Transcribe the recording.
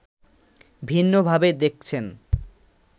ভিন্নভাবে দেখছেন